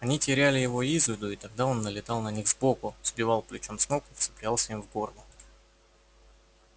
они теряли его из виду и тогда он налетал на них сбоку сбивал плечом с ног и вцеплялся им в горло